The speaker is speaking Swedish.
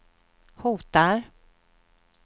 hotar